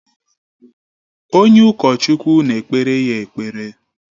Onye ụkọchukwu na-ekpere ya ekpere.